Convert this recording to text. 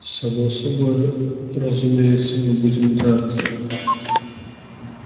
само собой разумеется мы будем драться